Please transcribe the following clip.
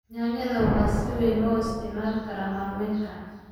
Yaanyada waxaa si weyn loo isticmaalaa karin maalmeedka.